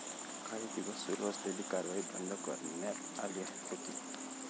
काही दिवस सुरू असलेली कारवाई बंद करण्यात आली होती.